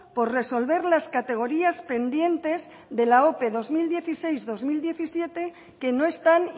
por resolver las categorías pendientes de la ope dos mil dieciséis dos mil diecisiete que no están